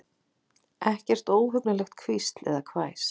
Ekkert óhugnanlegt hvísl eða hvæs.